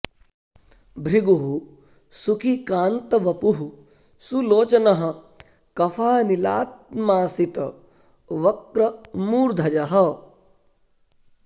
भृगुः सुखी कान्त वपुः सुलोचनः कफानिलात्मासित वक्र मूर्धजः